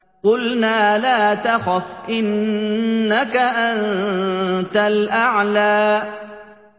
قُلْنَا لَا تَخَفْ إِنَّكَ أَنتَ الْأَعْلَىٰ